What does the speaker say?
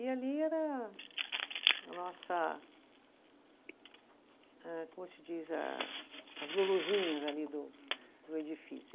E ali era a nossa, eh como se diz, a as Luluzinhas ali do do edifício.